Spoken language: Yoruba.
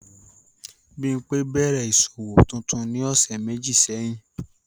Bimpe bẹrẹ iṣowo tuntun ni ọsẹ meji sẹhin.